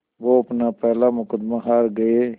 वो अपना पहला मुक़दमा हार गए